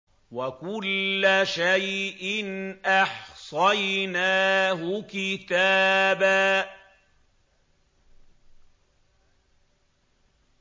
وَكُلَّ شَيْءٍ أَحْصَيْنَاهُ كِتَابًا